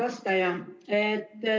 Hea vastaja!